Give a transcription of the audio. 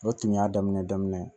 O tun y'a daminɛ daminɛ ye